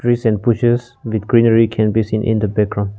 trees and bushes big greenery can be seen in the background.